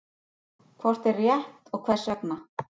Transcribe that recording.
Hvort er rétt og hvers vegna?